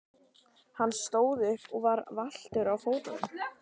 Hann stóð upp og var valtur á fótunum.